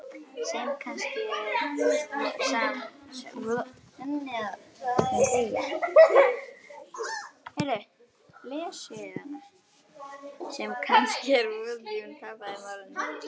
Sem kannski er von, því hún tapaði málinu.